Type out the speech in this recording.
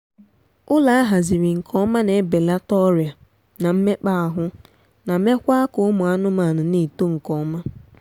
ụlọ ahaziri nke ọma na ebelata ọrịa na mmekpaahụ ma meekwaa ka ụmụ anmaanụ na-eto nkeọma